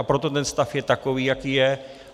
A proto ten stav je takový, jaký je.